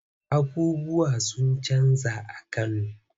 Abubuwa sun canja a Kano.